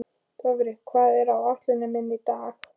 Dofri, hvað er á áætluninni minni í dag?